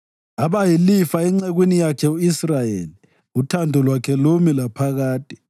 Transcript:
Abayilifa encekwini yakhe u-Israyeli, uthando lwakhe lumi laphakade.